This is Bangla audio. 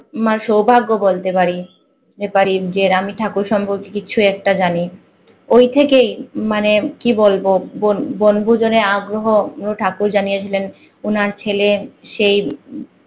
আমার সভাগ্য বলতে পারি পারি যে আমি ঠাকুর সর্ম্পকে কিছু একটা জানি। ওই থেকে মানে কি বলব বন বনভূজনের আগ্রহ ঠাকুর জানিয়ে দিলেন ওনার ছেলে সেই